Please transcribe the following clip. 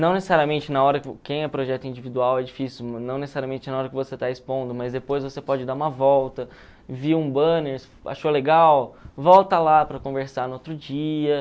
Não necessariamente na hora, quem é projeto individual é difícil, não necessariamente na hora que você está expondo, mas depois você pode dar uma volta, bum banner, achou legal, volta lá para conversar no outro dia.